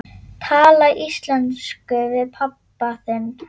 Tala íslensku við pabba þinn?